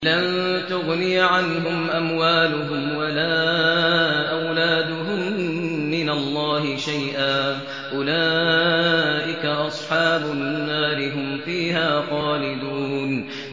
لَّن تُغْنِيَ عَنْهُمْ أَمْوَالُهُمْ وَلَا أَوْلَادُهُم مِّنَ اللَّهِ شَيْئًا ۚ أُولَٰئِكَ أَصْحَابُ النَّارِ ۖ هُمْ فِيهَا خَالِدُونَ